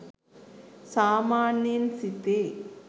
සාමාන්‍යයෙන් සිතේ.